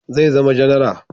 Zai zama janara